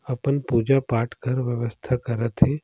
अपन पूजा-पाठ कर व्यवस्था करत हे।